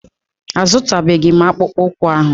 A zụtabeghi m akpụkpụ ụkwụ ahụ.